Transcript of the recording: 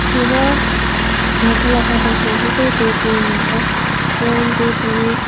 tun a aa thlalak a kan hmuh hi chu tuipui a ni a tuipui--